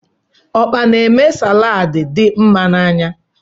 Ọkpa n'eme saladi dị mma n'anya.